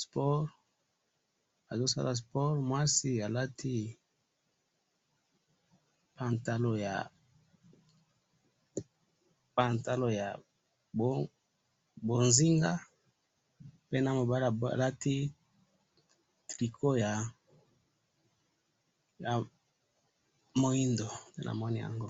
sport mwasi alati pantalon ya bozinga pe na mobali alati tricot ya moido